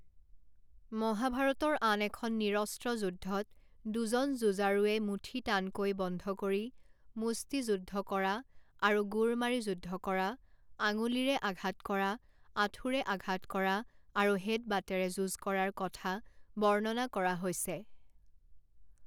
মহাভাৰতৰ আন এখন নিৰস্ত্ৰ যুদ্ধত দুজন যুঁজাৰুৱে মুঠি টানকৈ বন্ধ কৰি মুষ্টিযুদ্ধ কৰা আৰু গোৰ মাৰি যুদ্ধ কৰা, আঙুলিৰে আঘাত কৰা, আঁঠুৰে আঘাত কৰা আৰু হেডবাটেৰে যুঁজ কৰাৰ কথা বৰ্ণনা কৰা হৈছে।